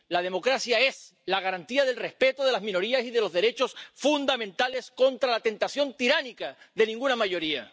La democracia es la garantía del respeto de las minorías y de los derechos fundamentales contra la tentación tiránica de ninguna mayoría.